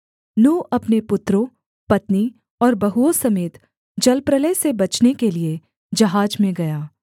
नूह अपने पुत्रों पत्नी और बहुओं समेत जलप्रलय से बचने के लिये जहाज में गया